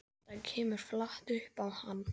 Þetta kemur flatt upp á hann.